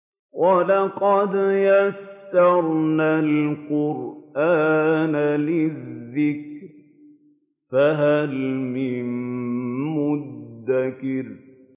وَلَقَدْ يَسَّرْنَا الْقُرْآنَ لِلذِّكْرِ فَهَلْ مِن مُّدَّكِرٍ